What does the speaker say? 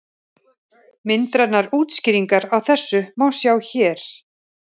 Myndrænar útskýringar á þessu má sjá hér.